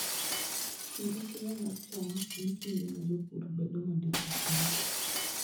Kinde keyo mar cham en kinde ma jopur bedo modich ahinya.